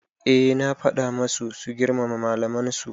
Eh na faɗa masu su girmama malaman su